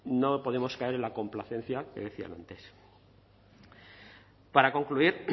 no podemos caer en la complacencia que decían antes para concluir